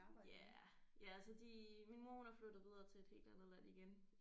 Ja ja altså de min mor hun er flyttet videre til et helt andet land igen